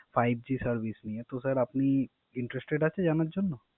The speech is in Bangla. Five G নিয়ে, তো স্যার আপনি Interested আছেন জানার জন্য?